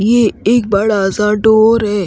ये एक बड़ा सा डोर है।